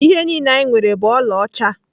Ihe niile anyị nwere bụ ọlaọcha.